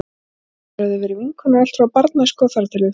Þær höfðu verið vinkonur allt frá barnæsku og þar til við fæddumst.